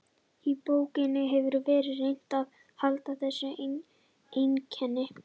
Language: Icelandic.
Í bókinni hefur verið reynt að halda þessu einkenni.